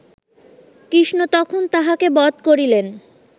কৃষ্ণ তখন তাহাকে বধ করিলেন